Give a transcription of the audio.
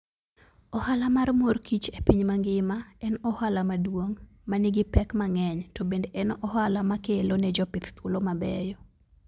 Ohala mar mor kich e piny mangima, en ohala maduong' ma nigi pek mang'eny, to bende en ohala makelo ne jopith thuolo mabeyo.